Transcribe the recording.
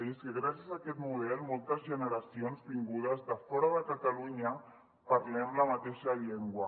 i és que gràcies a aquest model moltes generacions vingudes de fora de catalunya parlem la mateixa llengua